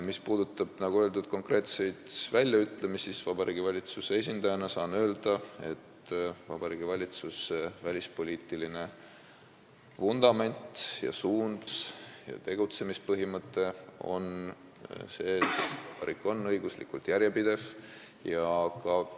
Mis puudutab, nagu öeldud, konkreetseid väljaütlemisi, siis Vabariigi Valitsuse esindajana saan öelda, et Vabariigi Valitsuse välispoliitiline vundament, suund ja tegutsemispõhimõte on see, et vabariik on õiguslikult järjepidev.